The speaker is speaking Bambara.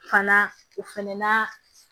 Fana o fɛnɛ na